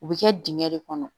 U bɛ kɛ dingɛ de kɔnɔ